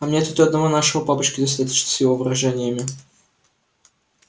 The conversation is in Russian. а мне тут и одного нашего папочки достаточно с его выражениями